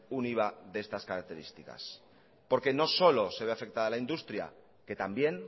un iva de estas características porque no solo se ve afectada la industria que también